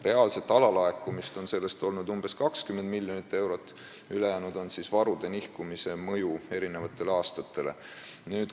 Reaalset alalaekumist on olnud sellest umbes 20 miljonit eurot ja ülejäänu on tulenenud varude nihkumise mõjust eri aastatele.